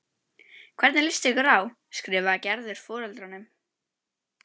Hvernig líst ykkur á? skrifar Gerður foreldrunum.